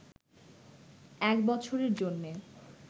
এক বছরের জন্যে